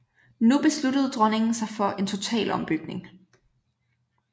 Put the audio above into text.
Nu besluttede dronningen sig for en total ombygning